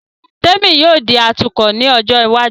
Témì yóò di atukọ̀ ní ọjọ́ iwájú